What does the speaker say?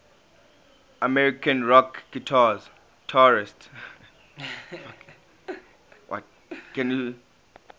american rock guitarists